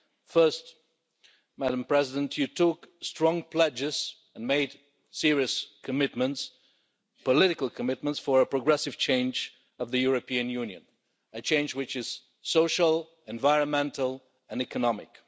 First, Madam President, you took strong pledges and made serious political commitments for a progressive change of the European Union a change which is social, environmental and economic.